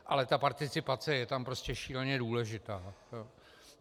Ale ta participace je tam prostě šíleně důležitá.